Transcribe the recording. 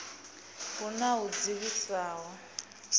hu na a u dzivhisaho